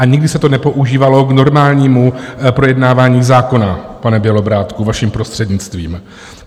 A nikdy se to nepoužívalo k normálnímu projednávání zákona, pane Bělobrádku, vaším prostřednictvím.